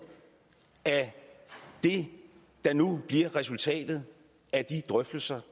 af det der nu bliver resultatet af de drøftelser